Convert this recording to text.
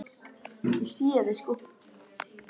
Annar hafði farið illa út úr bílaviðskiptum.